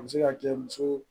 A bɛ se ka kɛ muso